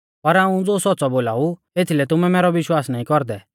पर हाऊं ज़ो सौच़्च़ौ बोलाऊ एथीलै तुमै मैरौ विश्वास नाईं कौरदै